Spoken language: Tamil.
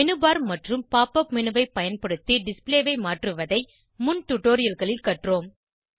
மேனு பார் மற்றும் pop up மேனு ஐ பயன்படுத்தி டிஸ்ப்ளே ஐ மாற்றுவதை முன் டுடோரியல்களில் கற்றோம்